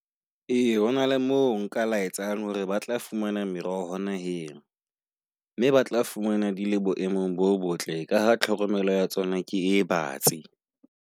A hona le mo nka la etsang hore ba tla fumana meroho hona. Hello mme ba tla fumana di le boemong bo botle, ka tlhokomelo ya tsona ke e base.